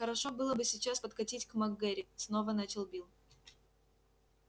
хорошо было бы сейчас подкатить к мак гэрри снова начал билл